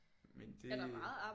Men det